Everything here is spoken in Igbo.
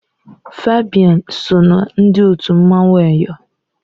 Fabian so ná ndị otu mmanwụ Eyọ